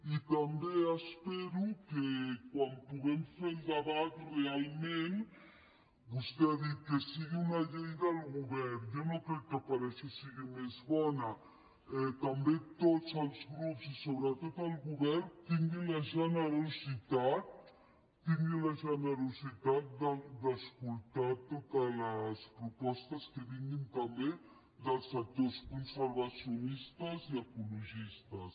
i també espero que quan puguem fer el debat realment vostè ha dit que sigui una llei del govern jo no crec que per això sigui més bona també tots els grups i sobretot el govern tinguin la generositat tinguin la generositat d’escoltar totes els propostes que vinguin també dels sectors conservacionistes i ecologistes